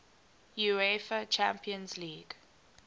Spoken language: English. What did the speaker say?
uefa champions league